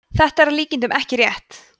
þetta er að líkindum ekki rétt